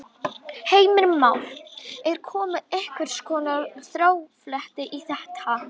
Heimir Már: Er komið einhvers konar þrátefli í þetta?